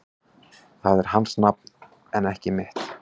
Það er hans nafn en ekki mitt